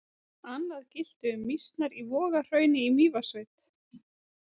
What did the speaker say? Annað gilti um mýsnar í Vogahrauni í Mývatnssveit.